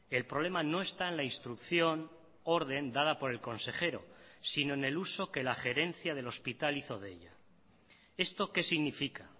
el problema no esta en la instrucción orden dada por el consejero sino en el uso que la gerencia del hospital hizo de ella esto que significa